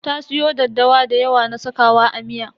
Ta siyo daddawa da yawa na sakawa a miya.